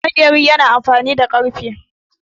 Maƙeri yana amfani da ƙarfe.